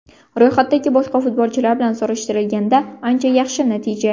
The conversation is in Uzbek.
Ro‘yxatdagi boshqa futbolchilar bilan solishtirilganda ancha yaxshi natija.